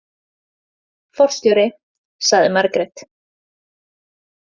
Forstjóri, sagði Margrét.